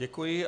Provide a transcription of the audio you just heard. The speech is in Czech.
Děkuji.